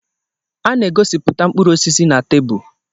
A na-egosipụta mkpụrụ osisi na tebụl.